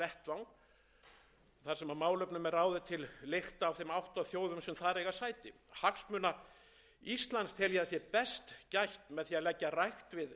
og styrkja norðurskautsráðið sem þann vettvang þar sem málefnum er ráðið til lykta af þeim átta þjóðum sem þar eiga sæti hagsmunum íslands